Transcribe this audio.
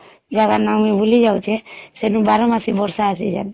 ସେ ଜାଗାର ନାଁ ମୁଇଁ ଭୁଲି ଯାଉଛେ ସେଇନୁ ବାର ମାସି ବର୍ଷା ଅଛି ଯେନ